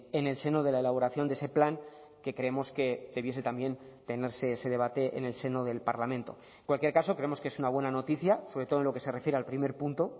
en el seno de la elaboración de ese plan que creemos que debiese también tenerse ese debate en el seno del parlamento en cualquier caso creemos que es una buena noticia sobre todo en lo que se refiere al primer punto